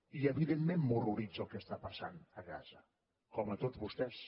i evidentment m’horroritza el que està passant a gaza com a tots vostès